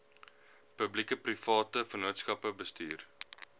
publiekeprivate vennootskappe bestuur